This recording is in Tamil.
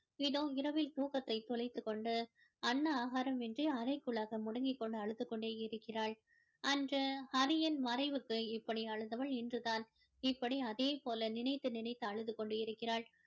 இதோ இரவில் தூக்கத்தை தொலைத்துக்கொண்டு அன்ன ஆகாரம் இன்றி அறைக்குள்ளாக முடங்கி கொண்டு அழுது கொண்டே இருக்கிறாள் அன்று ஹரியின் மறைவுக்கு இப்படி அழுதவள் இன்று தான் இப்படி அதே போல நினைத்து நினைத்து அழுது கொண்டு கொண்டிருக்கிறாள்